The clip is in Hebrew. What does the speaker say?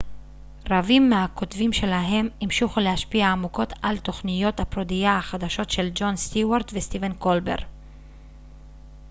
רבים מהכותבים שלהם המשיכו להשפיע עמוקות על תוכניות הפרודיה החדשות של ג'ון סטיוארט וסטיבן קולבר